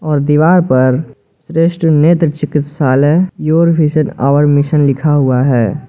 और दीवार पर श्रेष्ठ नेत्र चिकित्सालय योर विजन आवर मिशन लिखा हुआ है।